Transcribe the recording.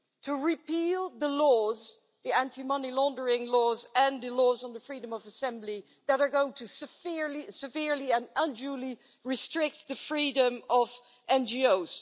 to repeal the laws, the anti money laundering laws and the laws on the freedom of assembly that are going to severely and unduly restrict the freedom of NGOs.